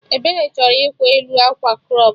Ebere chọrọ ịkwa elu akwa crọp